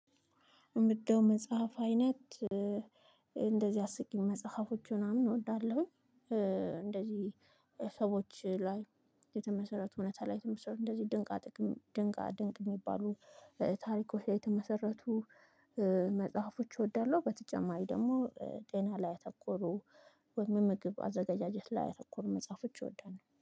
እምወደው መጽሐፍ አይነት እንደዚህ አስቂኝ መጽሐፎች ምናምን እወዳለሁኝ። ሰዎች ላይ የተመሰረቱ እውነታ ላይ የተመሰረቱ እንደዚህ ድንቃ ድንቅ የሚባሉ ታሪኮች ላይ የተመሰረቱ መጽሐፎች እወዳለሁ። በተጨማሪ ደግሞ ጤና ላይ ያተኮሩ ወይም ምግብ አዘጋጃጀት ላይ ያተኮሩ መጽሐፎች እወዳለሁ